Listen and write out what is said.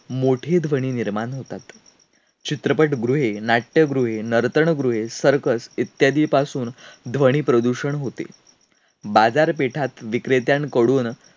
मोठी ध्वनी निर्माण होतात. चित्रपटगृहे, नाट्यगृहे, नर्तनगृहे, circus इत्यादी पासून ध्वनी प्रदूषण होते. बाजारपेठात विक्रेत्यांकडून